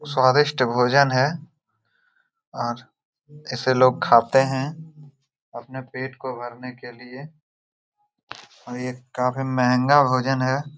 और बहुत सारा सिलेंडर का खाली डब्बा है और ये घर टूट चूका हैऔर यहाँ पे बहुत सारा कचरा भी है और एक गेट भी है यहा पे|